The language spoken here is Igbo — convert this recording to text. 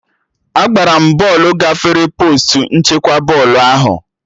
Agbara m bọọlụ gafere postu nchekwa bọọlụ ahụ